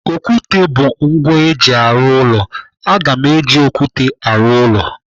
Okwute bụ ngwa eji arụ ụlọ. Aga m eji okwute arụ ụlọ.